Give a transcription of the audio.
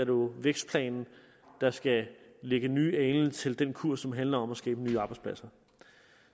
jo vækstplanen der skal lægge nye alen til den kurs som handler om at skabe nye arbejdspladser